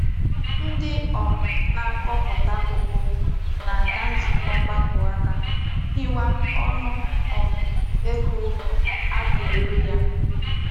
Ndi um na-akoputa koko na-aga nzuko mgbako aka ihiwa onu um ego a ga-ere ya.